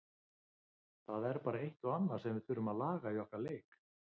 Það er bara eitt og annað sem við þurfum að laga í okkar leik.